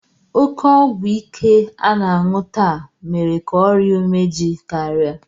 Oke ọgwụ ike a na-aṅụ taa mere ka ọrịa umeji karịa